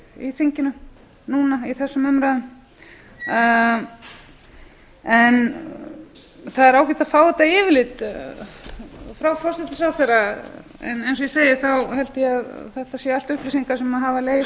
í þinginu núna í þessum umræðum það er ágætt að fá þetta yfirlit frá forsætisráðherra en eins og ég segi held ég að þetta séu allt upplýsingar sem hafa legið